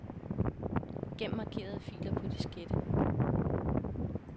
Gem markerede filer på diskette.